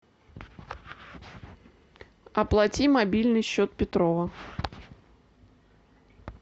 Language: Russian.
оплати мобильный счет петрова